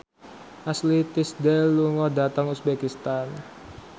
Ashley Tisdale lunga dhateng uzbekistan